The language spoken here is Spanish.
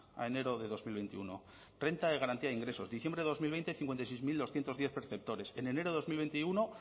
a enero de dos mil veintiuno renta de garantía ingresos diciembre de dos mil veinte cincuenta y seis mil doscientos diez perceptores en enero dos mil veintiuno